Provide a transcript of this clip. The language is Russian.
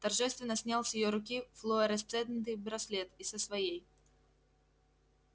торжественно снял с её руки флуоресцентный браслет и со своей